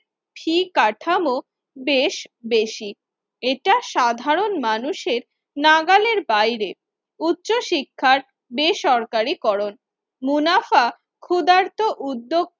Fee কাঠামো বেশ বেশি। এটা সাধারণ মানুষের নাগালের বাইরে উচ্চ শিক্ষায় বেসরকারিকরণ মুনাফা ক্ষুধার্ত উদ্যো